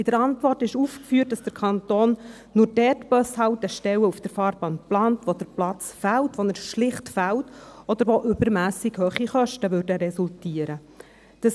In der Antwort ist aufgeführt, dass der Kanton nur dort Bushaltestellen auf der Fahrbahn plant, wo der Platz fehlt – wo er schlicht fehlt – oder wo übermässig hohe Kosten resultieren würden.